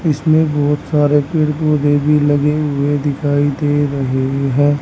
इसमें बहोत सारे पेड़ पौधे भी लगे हुए दिखाई दे रहे हैं।